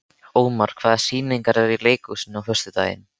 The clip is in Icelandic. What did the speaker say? Ómar, hvaða sýningar eru í leikhúsinu á föstudaginn?